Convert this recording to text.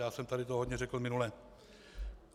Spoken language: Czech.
Já jsem tady toho hodně řekl minule.